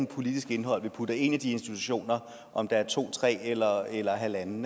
politisk indhold vi putter ind i de institutioner om der er to tre eller eller halvanden